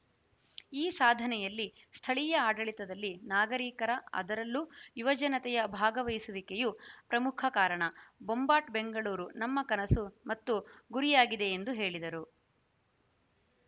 ಈ ಸಾಧನೆಯಲ್ಲಿ ಸ್ಥಳೀಯ ಆಡಳಿತದಲ್ಲಿ ನಾಗರಿಕರ ಅದರಲ್ಲೂ ಯುವಜನತೆಯ ಭಾಗವಹಿಸುವಿಕೆಯೂ ಪ್ರಮುಖ ಕಾರಣ ಬೊಂಬಾಟ್‌ ಬೆಂಗಳೂರು ನಮ್ಮ ಕನಸು ಮತ್ತು ಗುರಿಯಾಗಿದೆ ಎಂದು ಹೇಳಿದರು